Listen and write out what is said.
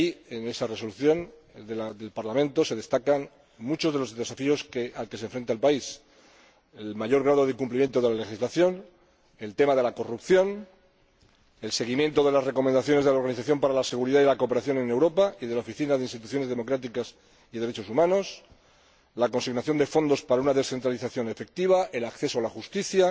En esa Resolución del Parlamento se destacan muchos de los desafíos a los que se enfrenta el país el mayor grado de incumplimiento de la legislación, la corrupción, el seguimiento de las recomendaciones de la Organización para la Seguridad y la Cooperación en Europa y de la Oficina de Instituciones Democráticas y Derechos Humanos, la consignación de fondos para una descentralización efectiva, el acceso a la justicia,